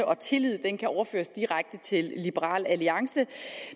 og tillid kan kan overføres direkte til liberal alliance